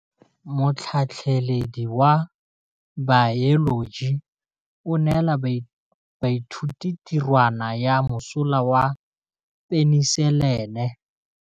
Motlhatlhaledi wa baeloji o neela baithuti tirwana ya mosola wa peniselene.